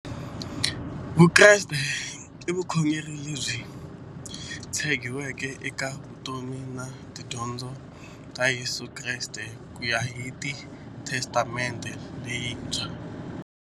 Vukreste i vukhongeri lebyi tshegiweke eka vutomi na tidyondzo ta Yesu Kreste kuya hi Testamente leyintshwa.